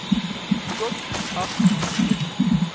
tot agt weke